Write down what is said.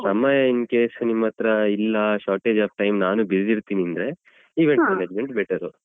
ಸಮಯ incase ನಿಮ್ಮತ್ರ ಇಲ್ಲ shortage of time ನಾನು busy ಇರ್ತೀನಿ ಅಂದ್ರೆ event management better .